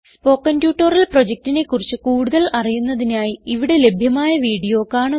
spoken tutorial പ്രൊജക്റ്റിനെ കുറിച്ച് കൂടുതൽ അറിയുന്നതിനായി ഇവിടെ ലഭ്യമായ വീഡിയോ കാണുക